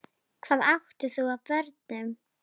Hvað átt þú af börnum?